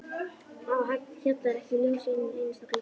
Á Hjalla var ekki ljós í einum einasta glugga.